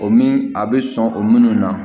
O min a be sɔn o munnu na